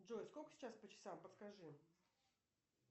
джой сколько сейчас по часам подскажи